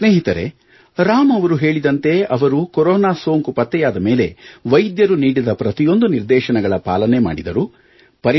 ಸ್ನೇಹಿತರೆ ರಾಮ್ ಅವರು ಹೇಳಿದಂತೆ ಅವರು ಕರೋನಾ ಸೋಂಕು ಪತ್ತೆಯಾದ ಮೇಲೆ ವೈದ್ಯರು ನೀಡಿದ ಪ್ರತಿಯೊಂದು ನಿರ್ದೇಶನಗಳ ಪಾಲನೆ ಮಾಡಿದರು